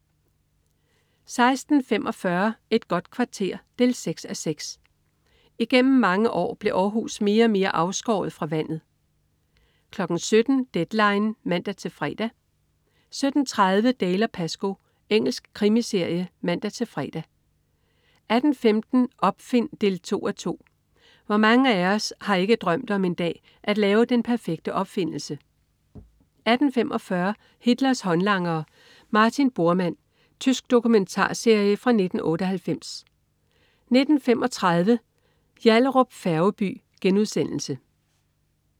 16.45 Et godt kvarter 6:6. Igennem mange år blev Århus mere og mere afskåret fra vandet 17.00 Deadline 17:00 (man-fre) 17.30 Dalziel & Pascoe. Engelsk krimiserie (man-fre) 18.15 Opfind 2:2. Hvor mange af os har ikke drømt om en dag at lave den perfekte opfindelse? 18.45 Hitlers håndlangere. Martin Bormann. Tysk dokumentarserie fra 1998 19.35 Yallahrup Færgeby*